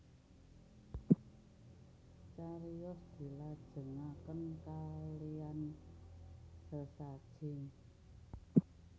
Cariyos dilajengaken kalean sesaji